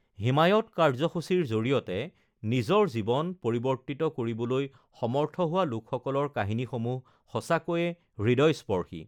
হিমায়ৎ কাৰ্যসূচীৰ জৰিয়তে নিজৰ জীৱন পৰিৱৰ্তিত কৰিবলৈ সমৰ্থ হোৱা লোকসকলৰ কাহিনীসমূহ সঁচাকৈয়ে হৃদয়স্পৰ্শী!